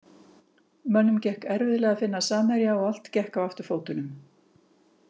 Mönnum gekk erfiðlega að finna samherja og allt gekk á afturfótunum.